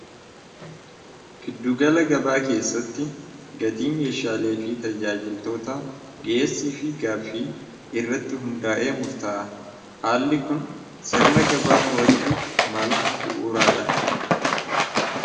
Gidduu gala gabaa keessatti gatii meeshaaleefi tajaajiltoota dhiyeessiifi gaaffii irratti hundaa'ee murtaa'a. Haalli kun sirna gabaa to'achuuf mala bu'uuraadha.